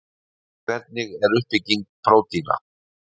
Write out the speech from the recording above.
Hvernig er uppbygging prótína?